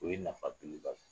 O ye nafa